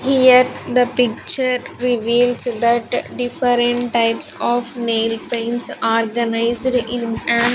Here the picture reveals that different types of nail paints organized in an --